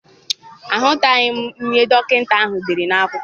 Aghọtaghị m ihe dọkịta ahụ dere n'akwụkwọ.